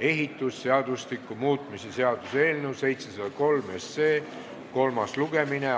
ehitusseadustiku muutmise seaduse eelnõu 703 kolmas lugemine.